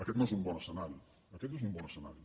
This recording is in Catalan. aquest no és un bon escenari aquest no és un bon escenari